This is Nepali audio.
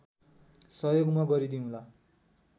सहयोग म गरिदिउँला